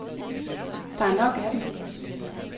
Der er nok af dem.